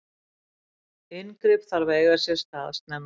inngrip þarf að eiga sér stað snemma